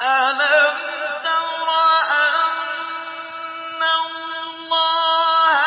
أَلَمْ تَرَ أَنَّ اللَّهَ